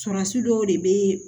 Surasi dɔw de be